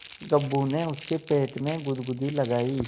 गप्पू ने उसके पेट में गुदगुदी लगायी